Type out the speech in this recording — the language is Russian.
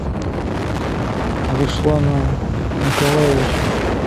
русланом николаевичем